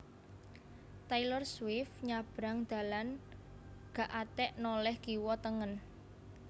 Taylor Swift nyabrang dalan gak atek noleh kiwa tengen